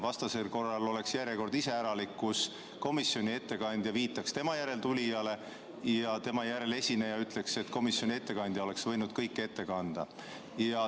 Vastasel korral oleks järjekord iseäralik: komisjoni ettekandja viitaks tema järel esinejale ja tema järel esineja ütleks, et komisjoni ettekandja oleks võinud kõik ette kanda.